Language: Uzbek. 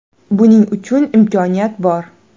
Buning uchun imkoniyat bor.